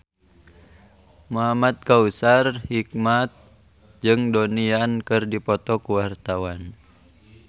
Muhamad Kautsar Hikmat jeung Donnie Yan keur dipoto ku wartawan